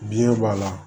Biɲɛ b'a la